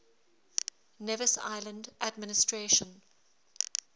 nevis island administration